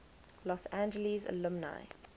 los angeles alumni